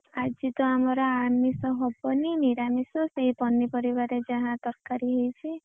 ଆଜି ତ ଆମର ଆମିଷ ହବନି ନିରାମିଷ ସେଇ ପନିପରିବାରେ ଯାହା ତରକାରୀ ହେଇଛି।